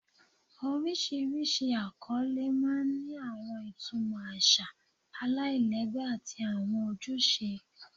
Oríṣiríṣi akọle máa ń ní àwọn ìtumọ̀ àṣà aláìlẹ́gbẹ́ àti àwọn ojúṣe